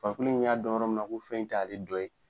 Farikolo in y'a dɔn yɔrɔ min na ko fɛn in t'ale dɔ ye